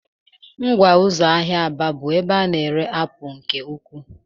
Ngwa ụzọ ahịa Aba bụ ebe a na-ere apụl nke ukwuu.